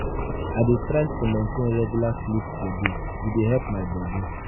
i dey try to maintain regular sleep schedule; e dey help my body.